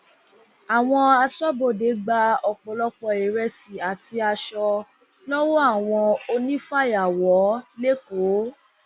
àwọn asọbọdé gba ọpọlọpọ ìrẹsì àti aṣọ lọwọ àwọn onífàyàwọ lẹkọọ